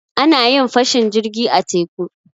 A na yin fashin jirgi a teku.